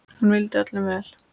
Hún vildi öllum vel.